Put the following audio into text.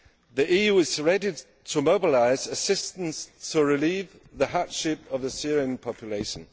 The EU is ready to mobilise assistance to relieve the hardship of the Syrian population.